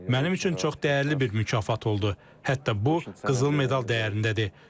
Mənim üçün çox dəyərli bir mükafat oldu, hətta bu qızıl medal dəyərindədir.